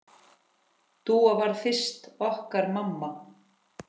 Dúa varð fyrst okkar mamma.